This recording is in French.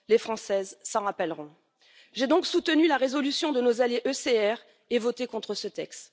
Les Françaises s'en rappelleront. J'ai donc soutenu la résolution de nos alliés ECR et voté contre ce texte.